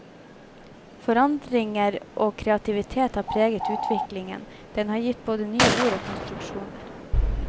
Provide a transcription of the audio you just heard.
Forandringer og kreativitet har preget utviklingen, den har gitt både nye ord og konstruksjoner.